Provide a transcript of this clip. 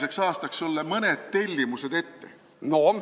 – sulle mõned tellimused ette anda.